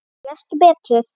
Lestu betur!